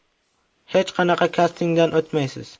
Hech qanaqa kastingdan o‘tmaysiz.